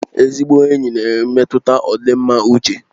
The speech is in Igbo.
Ezigbo enyi na-emetụta ọdịmma uche